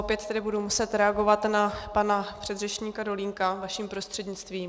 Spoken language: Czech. Opět tedy budu muset reagovat na pana předřečníka Dolínka vaším prostřednictvím.